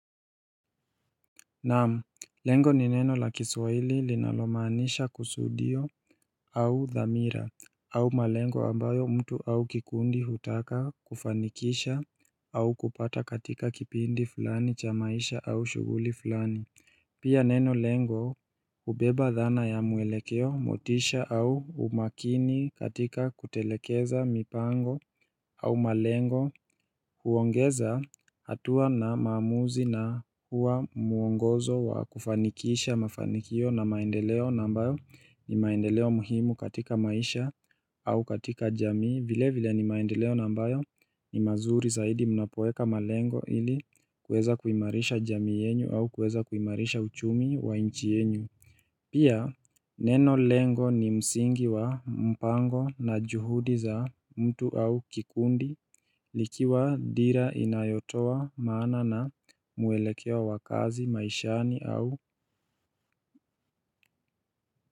Naam lengo ni neno la kiswahili linalomaanisha kusudio au dhamira au malengo ambayo mtu au kikundi hutaka kufanikisha au kupata katika kipindi fulani cha maisha au shughuli fulani Pia neno lengo hubeba dhana ya mwelekeo motisha au umakini katika kutelekeza mipango au malengo huongeza hatua na maamuzi na huwa mwongozo wa kufanikisha mafanikio na maendeleo na ambayo ni maendeleo muhimu katika maisha au katika jamii vile vile ni maendeleo na ambayo ni mazuri zaidi mnapoeka malengo ili kuweza kuimarisha jamii yenu au kuweza kuimarisha uchumi wa nchi yenu. Pia neno lengo ni msingi wa mpango na juhudi za mtu au kikundi ikiwa dira inayotoa maana na mwelekeo wa kazi maishani au.